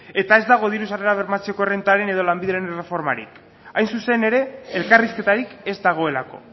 eta ez dago diru sarrerak bermatzeko errentaren edo lanbideren erreformarik hain zuzen ere elkarrizketarik ez dagoelako